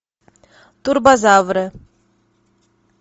турбозавры